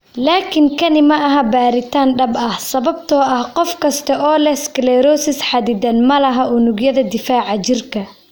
Laakiin kani ma aha baaritaan dhab ah sababtoo ah qof kasta oo leh sclerosis xaddidan ma laha unugyada difaaca jirka.